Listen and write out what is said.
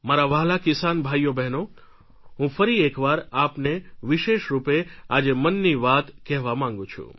મારા વ્હાલા કિસાન ભાઈઓબહેનો હું ફરી એકવાર આપને વિશેષ રૂપે આજે મનની વાત કહેવા માંગું છું